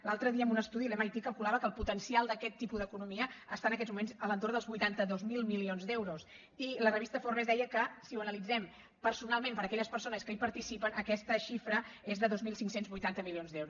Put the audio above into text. l’altre dia en un estudi l’mit calcula·va que el potencial d’aquest tipus d’economia està en aquests moments a l’entorn dels vuitanta dos mil milions d’eu·ros i la revista forbes deia que si ho analitzem per·sonalment per a aquelles persones que hi participen aquesta xifra és de dos mil cinc cents i vuitanta milions d’euros